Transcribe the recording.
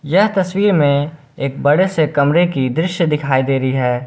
यह तस्वीर में एक बड़े से कमरे की दृश्य दिखाई दे रही है।